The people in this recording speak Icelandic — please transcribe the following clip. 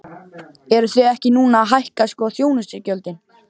Eruð þið ekki núna að hækka sko þjónustugjöldin?